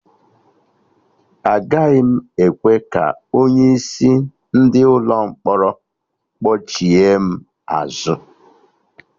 Agaghị m ekwe ka onye isi ndị ụlọ mkpọrọ kpọchigha m azụ